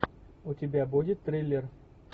у тебя будет триллер